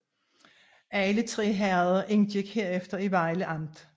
Alle tre herreder indgik herefter i Vejle Amt